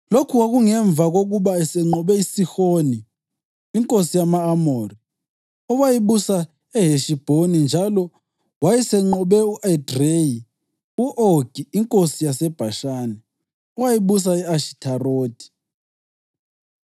Lokhu kwakungemva kokuba esenqobe uSihoni inkosi yama-Amori, owayebusa eHeshibhoni, njalo wayesenqobe e-Edreyi u-Ogi inkosi yaseBhashani, owayebusa e-Ashitharothi.